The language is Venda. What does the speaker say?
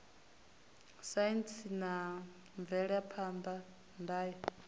saintsi na mvelaphan ḓa ya